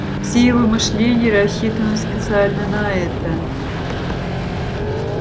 все его мышление рассчитано специально на это